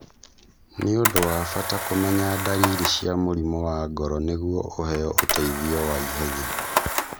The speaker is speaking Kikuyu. Nĩ ũndũ wa mbata kũmenya ndariri cia mũrimũ wa ngoro nĩguo ũheo ũteithio wa ihenya.